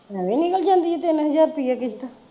ਐਵੇਂ ਨਿਕਲ ਜਾਂਦੀ ਆ ਤਿੰਨ ਹਜ਼ਾਰ ਰੁਪਇਆ ਕਿਸ਼ਤ।